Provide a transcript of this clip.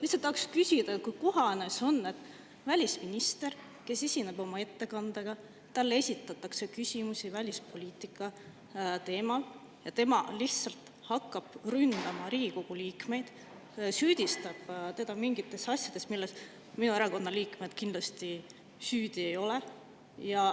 Lihtsalt küsin, kas see on kohane, et kui välisministrile, kes esineb oma ettekandega, esitatakse küsimusi välispoliitika teemal, siis tema hakkab Riigikogu liikmeid ründama, süüdistab neid mingites asjades, milles minu erakonna liikmed kindlasti süüdi ei ole.